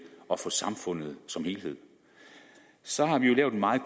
og for samfundet som helhed så har vi jo lavet en meget